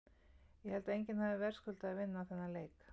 Ég held að enginn hafi verðskuldað að vinna þennan leik.